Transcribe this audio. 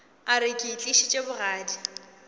a re ke itlišitše bogadi